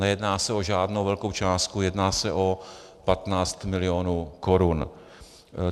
Nejedná se o žádnou velkou částku, jedná se o 15 mil. korun.